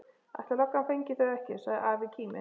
Ætli löggan flengi þau ekki! sagði afi kíminn.